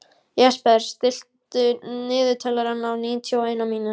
Jesper, stilltu niðurteljara á níutíu og eina mínútur.